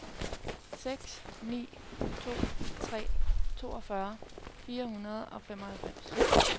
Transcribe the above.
seks ni to tre toogfyrre fire hundrede og femoghalvfems